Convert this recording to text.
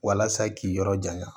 Walasa k'i yɔrɔ janya